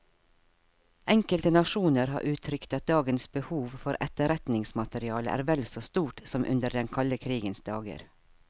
Enkelte nasjoner har uttrykt at dagens behov for etterretningsmateriale er vel så stort som under den kalde krigens dager.